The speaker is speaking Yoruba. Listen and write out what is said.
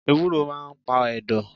Ewúro máà ń pa ẹ̀dọ̀